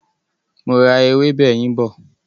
Mo ra ewébè yín bọ̀.